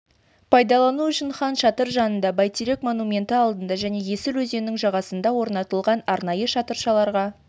пайдалану үшін хан шатыр жанында бәйтерек монументі алдында және есіл өзенінің жағасында орнатылған арнайы шатыршаларға